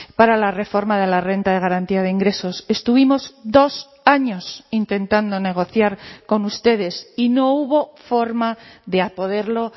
para la reforma de la renta de garantía de ingresos estuvimos dos años intentando negociar con ustedes y no hubo forma de poderlo